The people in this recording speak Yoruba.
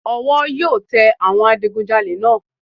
Wọ́n yóò tẹ àwọn adigunjalè náà